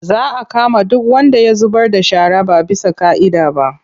Za a kama duk wanda ya zubar da shara ba bisa ƙa'ida ba.